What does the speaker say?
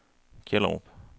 Kjellerup